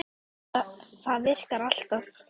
Það virkar alltaf.